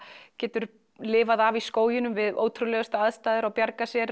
getur lifað af í skóginum við ótrúlegustu aðstæður og bjargað sér